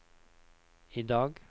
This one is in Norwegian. idag